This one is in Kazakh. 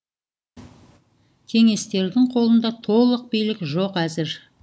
кеңестердің қолында толық билік жоқ әзір